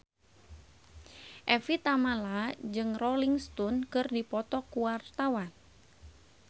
Evie Tamala jeung Rolling Stone keur dipoto ku wartawan